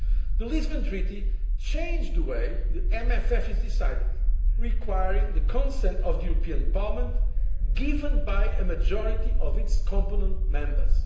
The Lisbon Treaty changed the way the MFF is decided, requiring the consent of the European Parliament, given by a majority of its competent Members.